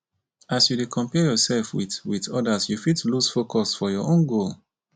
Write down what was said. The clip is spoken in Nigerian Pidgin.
as you dey compare yoursef wit wit odas you fit loose focus for your own goal.